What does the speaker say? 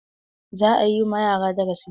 Za a yi ma yara darasi.